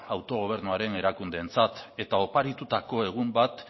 autogobernuaren erakundeentzat eta oparitutako egun bat